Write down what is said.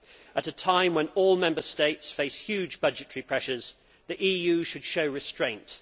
At a time when all Member States face huge budgetary pressures, the EU should show restraint.